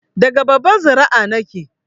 Daga babbar zuri'a nike